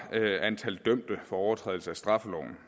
antallet af dømte for overtrædelse af straffeloven